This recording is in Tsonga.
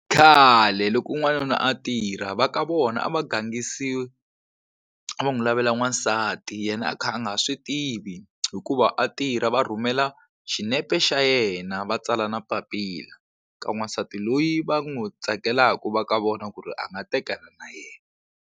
Khale loko n'wanuna a tirha va ka vona a va gangisi a va n'wi lavela n'wansati yena a kha a nga swi tivi hikuva a tirha va rhumela xinepe xa yena va tsala na papila ka n'wansati loyi va n'wi tsakelaka va ka vona ku ri a nga tekana na yena.